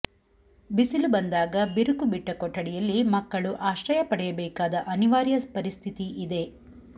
ಬಿಸಿಲು ಬಂದಾಗ ಬಿರುಕು ಬಿಟ್ಟ ಕೊಠಡಿಯಲ್ಲಿ ಮಕ್ಕಳು ಆಶ್ರಯ ಪಡೆಯಬೇಕಾದ ಅನಿವಾರ್ಯ ಪರಿಸ್ಥಿತಿ ಇದೆ